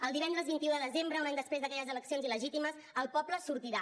el divendres vint un de desembre un any després d’aquelles eleccions il·legítimes el poble sortirà